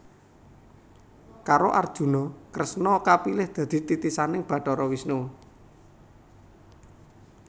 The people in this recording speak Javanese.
Karo Arjuna Kresna kapilih dadi titisaning Bathara Wisnu